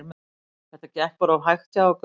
Þetta gekk bara of hægt hjá okkur.